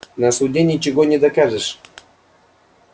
на суде ничего не докажешь